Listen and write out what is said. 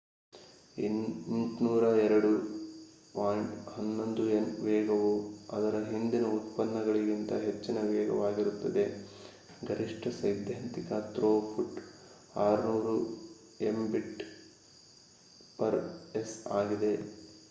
802.11n ವೇಗವು ಅದರ ಹಿಂದಿನ ಉತ್ಪನ್ನಗಳಿಗಿಂತ ಹೆಚ್ಚು ವೇಗವಾಗಿರುತ್ತದೆ ಗರಿಷ್ಠ ಸೈದ್ಧಾಂತಿಕ ಥ್ರೋಪುಟ್ 600mbit/s ಆಗಿದೆ